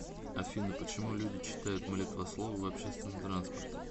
афина почему люди читают молитвословы в общественном транспорте